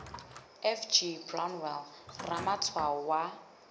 f g brownell ramatshwao wa